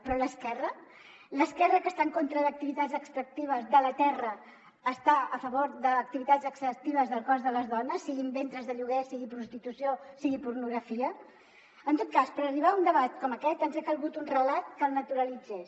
però l’esquerra l’esquerra que està en contra d’activitats extractives de la terra està a favor d’activitats extractives del cos de les dones siguin ventres de lloguer sigui prostitució sigui pornografia en tot cas per arribar a un debat com aquest ens ha calgut un relat que el naturalitzés